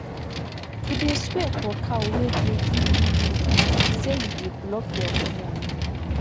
to dey swear for cow wey dey give you milk na like say you dey block your own money